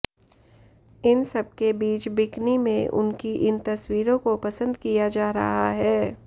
इन सबके बीच बिकिनी में उनकी इन तस्वीरों को पसंद किया जा रहा है